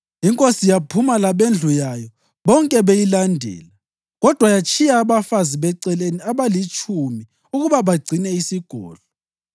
Inkosi yaphuma labendlu yayo bonke beyilandela; kodwa yatshiya abafazi beceleni abalitshumi ukuba bagcine isigodlo.